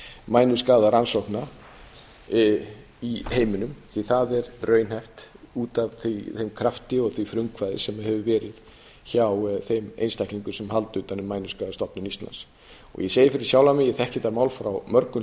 mænuskaðarannsókna í heiminum því það er raunhæft út af þeim krafti og því frumkvæði sem hefur verið hjá þeim einstaklingum sem halda utan um mænuskaðastofnun íslands ég segi fyrir sjálfan mig ég þekki þetta mál frá mörgum